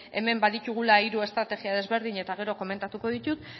hemen baditugula hiru estrategia ezberdin eta gero komentatuko ditut